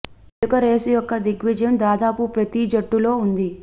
ఎలుక రేసు యొక్క దృగ్విషయం దాదాపు ప్రతి జట్టు లో ఉంది